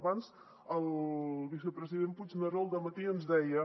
abans el vicepresident puigneró al dematí ens deia